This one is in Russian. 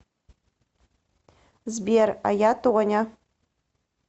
сбер а я тоня